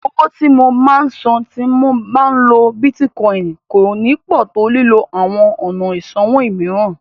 Owó tí mo máa sàn tí mo bá ń lo Bítíkọìnì kò ní pọ̀ tó lílo àwọn ọ̀nà ìsanwó mìíràn.